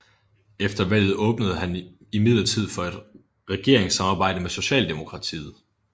Efter valget åbnede han imidlertid for et regeringssamarbejde med Socialdemokratiet